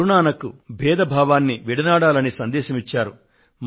గురు నానక్ దేవ్ బేధ భావాన్ని విడనాడాలని సందేశం ఇచ్చారు